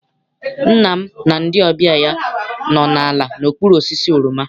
Nna m na ndị ọbịa ya nọ ala n'okpuru osisi oroma.